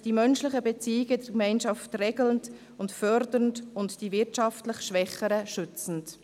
die menschlichen Beziehungen in der Gemeinschaft regelnd und fördernd und die wirtschaftlich Schwächeren schützend.